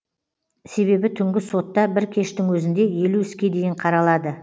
себебі түнгі сотта бір кештің өзінде елу іске дейін қаралады